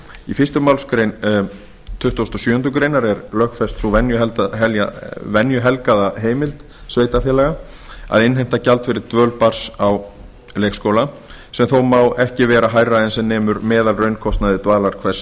í fyrstu málsgrein tuttugustu og sjöundu grein er lögfest sú venjuhelgaða heimild sveitarfélaga að innheimta gjald fyrir dvöl barns á leikskóla sem þó má ekki vera hærra en sem nemur meðalraunkostnaði dvalar hvers